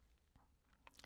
DR2